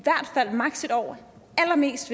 år allerlængst